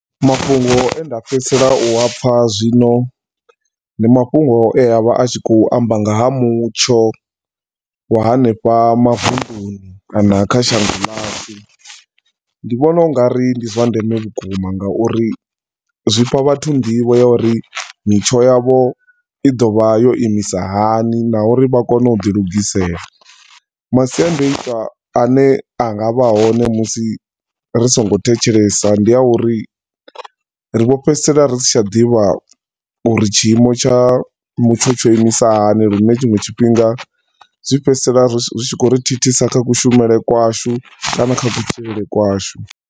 Mafhungo enda fhedzisela u apfa zwino ndi mafhungo e a vha a tshi khou amba nga ha mutsho wa hanefha mavunduni kana kha shango lashu. Ndi vhona ungari ndi zwa ndeme vhukuma nga uri zwi fha vhathu nḓivho ya uri mitsho yavho i ḓo vha yo imisa hani na uri vha kone u ḓi lugisela. Masiandoitwa ane anga vha hone musi ri singo thetshelesa ndi a uri ri vho fhedzisela ri sa tsha ḓivha uri tshiimo tsha mutsho tsho imisa hani zwine tshinwe tshifhinga zwi fhedzisela zwi khou ri thithisa kha ku shumele kwashu kana kha kutshilele kwashu.